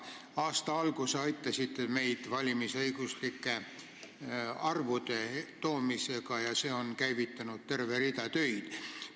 Aasta alguses aitasite meid arvude toomisega valimisõiguslike inimeste kohta, mis on käivitanud terve rea töid.